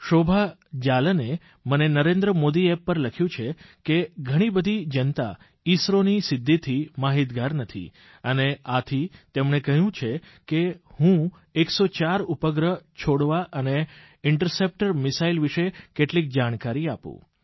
શોભા જાલને મને નરેન્દ્ર modiApp પર લખ્યું છે કે ઘણી બધી જનતા ઇસરોની સિદ્ધિથી માહીતગાર નથી અને આથી તેમણે કહ્યું છ કે હું 104 ઉપગ્રહો છોડવા અને ઇન્ટરસેપ્ટર મિસાઇલ વિશે કેટલીક જાણકારી આપું